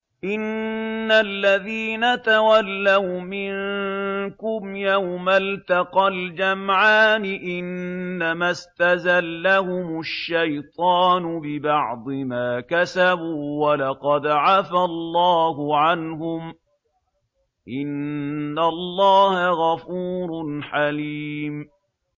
إِنَّ الَّذِينَ تَوَلَّوْا مِنكُمْ يَوْمَ الْتَقَى الْجَمْعَانِ إِنَّمَا اسْتَزَلَّهُمُ الشَّيْطَانُ بِبَعْضِ مَا كَسَبُوا ۖ وَلَقَدْ عَفَا اللَّهُ عَنْهُمْ ۗ إِنَّ اللَّهَ غَفُورٌ حَلِيمٌ